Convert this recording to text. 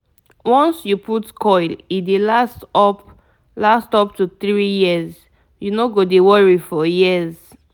once you put coil e dey last up last up to 3yrs - you no go dey worry for years